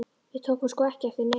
Við tókum sko ekki eftir neinu.